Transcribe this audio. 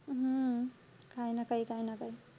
हम्म काई ना काई, काई ना काई.